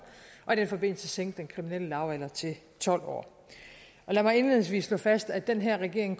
og i den forbindelse sænke den kriminelle lavalder til tolv år lad mig indledningsvis slå fast at den her regering